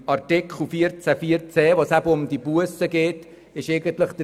Bei Artikel 14 Absatz 4 Buchstabe c, worin es um die Bussen geht, gilt eigentlich dasselbe.